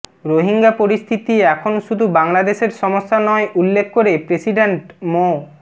রোহিঙ্গা পরিস্থিতি এখন শুধু বাংলাদেশের সমস্যা নয় উল্লেখ করে প্রেসিডেন্ট মো